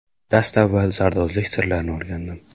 Dastavval zardo‘zlik sirlarini o‘rgandim.